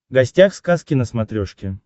гостях сказки на смотрешке